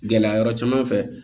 Gɛlɛya yɔrɔ caman fɛ